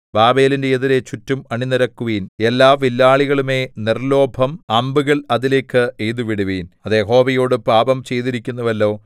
ബാബേലിന്റെ എതിരെ ചുറ്റും അണിനിരക്കുവിൻ എല്ലാ വില്ലാളികളുമേ നിർല്ലോഭം അമ്പുകൾ അതിലേക്ക് എയ്തുവിടുവിൻ അത് യഹോവയോട് പാപം ചെയ്തിരിക്കുന്നുവല്ലോ